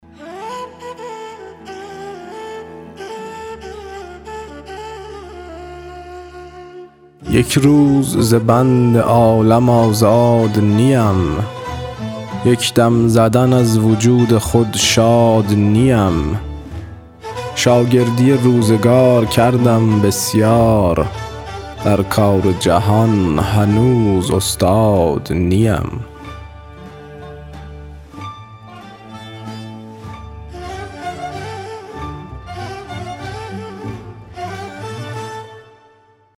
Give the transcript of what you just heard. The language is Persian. یک روز ز بند عالم آزاد نیم یک دم زدن از وجود خود شاد نیم شاگردی روزگار کردم بسیار در کار جهان هنوز استاد نیم